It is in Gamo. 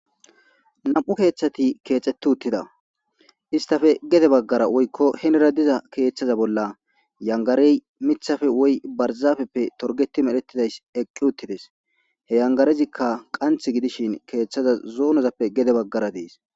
nam7u keeththati keexeti uttida istafe gede baggara woykko henera diza keeththaza bolla yangarey mithafe woy barzafeppe torgeti medhettidays eqqi uttides he yangarezikka qanthe gidishin keeththaza zoonozappe gede baggara dees.